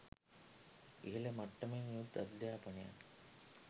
ඉහළ මට්ටමෙන් යුත් අධ්‍යාපනයක්